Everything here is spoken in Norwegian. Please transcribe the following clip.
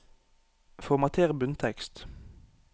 Formater bunntekst